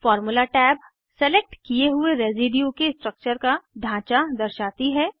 formula tab select किये हुए residue के स्ट्रक्चर का ढांचा दर्शाती है